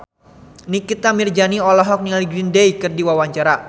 Nikita Mirzani olohok ningali Green Day keur diwawancara